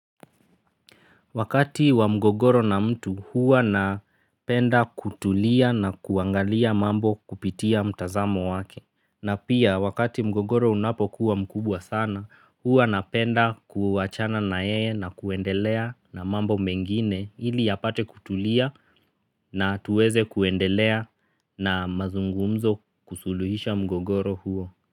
Wakati wa mgogoro na mtu huwa napenda kutulia na kuangalia mambo kupitia mtazamo wake. Na pia wakati mgogoro unapokuwa mkubwa sana huwa napenda kuwachana nayeye na kuendelea na mambo mengine ili apate kutulia na tuweze kuendelea na mazungumzo kusuluhisha mgogoro huo.